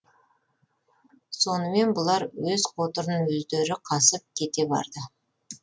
сонымен бұлар өз қотырын өздері қасып кете барды